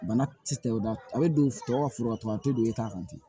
Bana ti o da a be don tɔ ka foro la tugun a te don i t'a kan ten